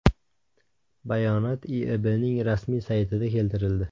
Bayonot IIBBning rasmiy saytida keltirildi .